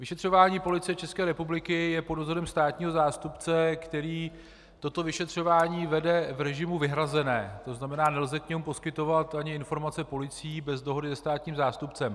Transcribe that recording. Vyšetřování Policie České republiky je pod dozorem státního zástupce, který toto vyšetřování vede v režimu "vyhrazené", to znamená, nelze k němu poskytovat ani informace policie bez dohody se státním zástupcem.